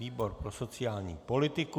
Výbor pro sociální politiku.